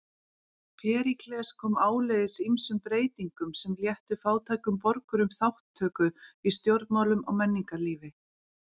Períkles kom áleiðis ýmsum breytingum sem léttu fátækum borgurum þátttöku í stjórnmálum og menningarlífi.